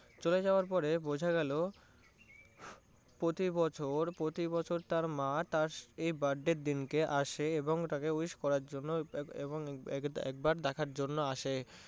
চলে যাওয়ার পরে বোঝা গেলো প্রতি বছর প্রতি বছর তার মা তার এই birthday তে আসে এবং তাকে wish করার জন্য এবং একবার দেখার জন্য আসে।